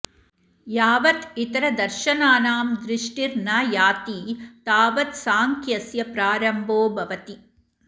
यावत् इतरदर्शनानां दृष्टिर्न याति तावत् सांख्यस्य प्रारम्भो भवति